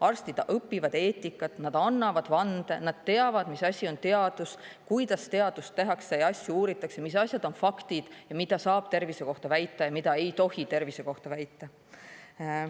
Arstid õpivad eetikat, nad annavad vande, nad teavad, mis asi on teadus, kuidas teadust tehakse, asju uuritakse, mis asjad on faktid ja mida saab tervise kohta väita ja mida ei tohi tervise kohta väita.